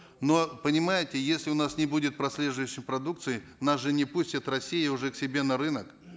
но понимаете если у нас не будет прослеживаемости продукции нас же не пустит россия уже к себе на рынок